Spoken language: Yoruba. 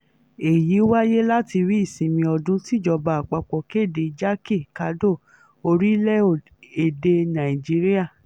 èyí wáyé látàrí ìsinmi ọdún tíjọba àpapọ̀ kéde jákè-kàdò orílẹ̀-èdè nàíjíríà